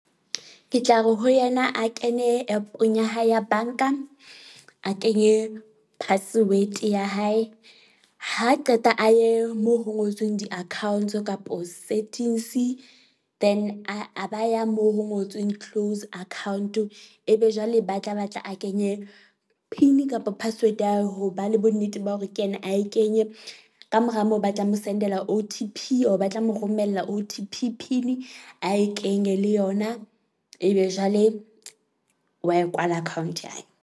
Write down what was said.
Ke tla re ho yena a kene app-ong ya hae ya bank-a. A kenye password ya hae, ha qeta a ye moo ho ngotsweng di-accounts kapo settings then a a ba ya moo ho ngotsweng close account. Ebe jwale ba tla batla a kenye PIN-i kapa password ya hao. Ho ba le bo nnete ba hore ke yena a e kenye. Ka mora moo ba tla mo sendela O_T_ P or ba tla mo romella O_T_P PIN-i a e kenye le yona ebe jwale wa e kwala account ya hae.